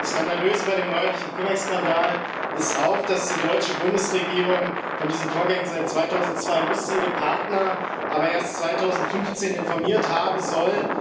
Skandalös bei dem neuerlichen Cum Ex Skandal ist auch, dass die deutsche Bundesregierung von diesen Vorgängen seit 2002 wusste, ihre Partner aber erst 2015 informiert haben soll.